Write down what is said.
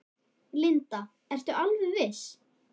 Linda: Ertu alveg viss?